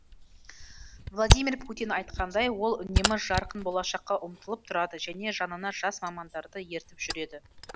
владимир путин айтқандай ол үнемі жарқын болашаққа ұмтылып тұрады және жанына жас мамандарды ертіп жүреді